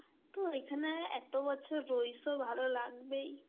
তো ওইখানে এত বছর রয়েসো, ভালো লাগবেই